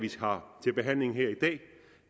har til behandling her i dag